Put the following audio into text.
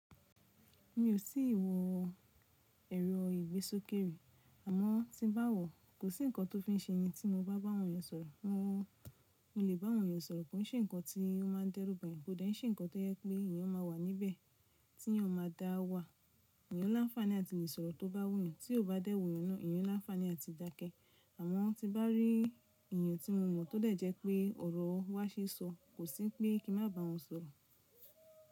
Mi ò tí ì wọ èrọ ìgbésókè mi, àmọ́ tí ń bá wọ̀, kò sí ǹkan tó fi ń ṣe ni tí mobá bá àwọn ènìyàn sọ̀rọ̀. Mo lè bá àwọn ènìyàn sọ̀rọ̀, kò ń ṣe ǹkan tí ó máa dẹ́rùba yen, kò dẹ̀ ń ṣe ǹkan tó jẹ́ pé ènìyàn máa wà níbẹ̀ tí ó máa dá wa. Ènìyàn lá ń làfani àti le ìsọ̀rọ̀ to bá wù yen, tí ó bá dẹ́ wuyen naa ènìyàn lá ń làfaní àti dákẹ́. Àmọ́ tí bá rí ènìyàn tí mo mọ̀ tó dẹ̀ jẹ́ pé ọ̀rọ̀ wá ṣe sọ, kò sí pé kí n má bá won sọ̀rọ̀.